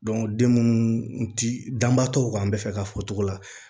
den munnu ti danbaa tɔw kan an be fɛ ka fɔ cogo la